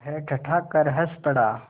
वह ठठाकर हँस पड़ा